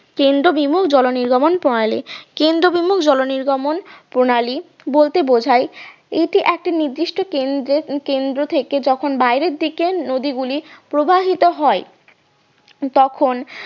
কেন্দ্র বিমুল জলনির্গমন প্রণালী, কেন্দ্র বিমুল জলনির্গমন প্রণালী বলতে বোঝায় এতে একটা নির্দিষ্ট কেন্দ্রের কেন্দ্র থেকে যখন বাইরের দিকে নদীগুলি প্রবাহিত হয় তখন